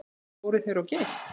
Fóru þeir of geyst?